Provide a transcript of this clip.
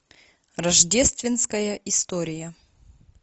рождественская история